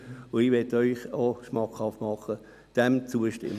Ich möchte Ihnen schmackhaft machen, dem zuzustimmen.